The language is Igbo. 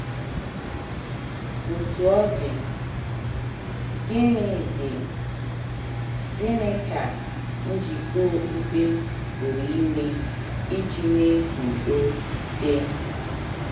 Otú ọ dị, gịnị dị, gịnị ka njikọ okpukpe pụrụ ime iji mee ka udo dị?